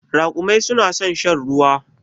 Raƙumai su na san shan ruwa.